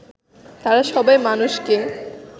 তারা সবাই মানুষকে